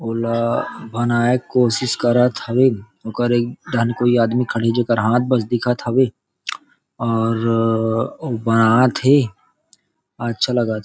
ओला बनाए के कोशिश करत हवे ओकर एक डाहन कोई आदमी खड़े जेकर हाथ बस दिखत हावे अऊ बनात थे अच्छा लगत थे।